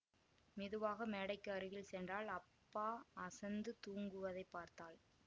மெதுவாக மேடைக்கு அருகில் சென்றாள் அப்பா அசந்து தூங்குவதைப் பார்த்தாள்